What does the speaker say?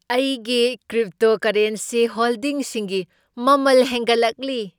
ꯑꯩꯒꯤ ꯀ꯭ꯔꯞꯇꯣꯀꯔꯔꯦꯟꯁꯤ ꯍꯣꯜꯗꯤꯡꯁꯤꯡꯒꯤ ꯃꯃꯜ ꯍꯦꯟꯒꯠꯂꯛꯂꯤ ꯫